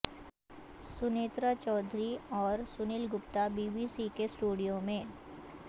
سنیترا چودھری اور Sunil Gupta B B C کے studio میں